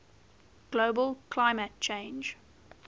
global climate change